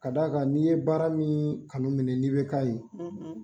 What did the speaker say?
Ka d'a kan n'i ye baara min kanu minɛ n'i bɛ ka ye